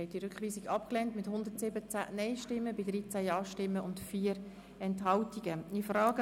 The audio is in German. Der Rat hat den Rückweisungsantrag abgelehnt.